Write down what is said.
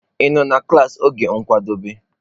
Ị nọ na klaasị n'oge nkwadebe?